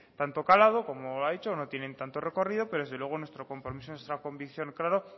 tanto calado como ha dicho no tienen tanto recorrido pero desde luego nuestro compromiso nuestra convicción